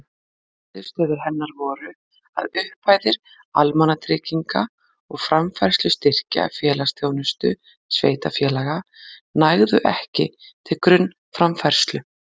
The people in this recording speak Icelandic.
Niðurstöður hennar voru að upphæðir almannatrygginga og framfærslustyrkja félagsþjónustu sveitarfélaga nægðu ekki til grunnframfærslu.